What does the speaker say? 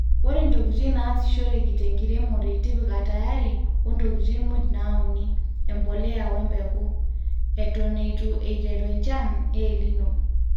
ore ntokitin naasishoreki tenkiremore tipika tayari o ntokitin muuj nauni,(embolea, embeku)eton eitu eiteru enchan e El nino